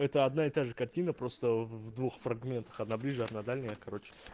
это одна и та же картина просто в двух фрагментах одна ближняя другая дальняя короче